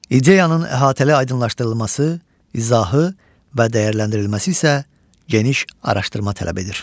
İdeyanın əhatəli aydınlaşdırılması, izahı və dəyərləndirilməsi isə geniş araşdırma tələb edir.